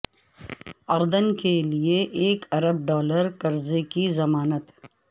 اردن کے لیے ایک ارب ڈالر قرضے کی ضمانت